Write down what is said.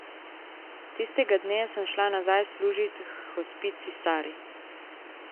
Tistega dne sem šla nazaj služit h gospici Sari.